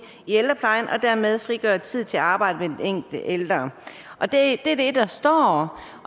i ældreplejen og dermed frigøre tid til arbejdet med den enkelte ældre det er det der står